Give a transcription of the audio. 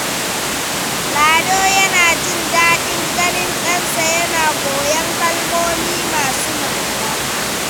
Lado yana jin daɗin ganin ɗansa yana koyon kalmomi masu ma’ana.